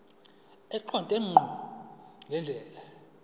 eqonde ngqo ngendlela